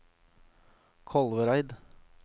Kolvereid